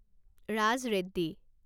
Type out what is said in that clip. Raj Reddy